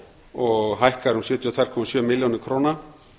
og hækkar um sjötíu og tvær komma sjö milljónir króna